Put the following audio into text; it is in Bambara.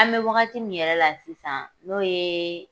An bɛ wagati min yɛrɛ la sisan n'o ye